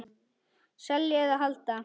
Selja eða halda?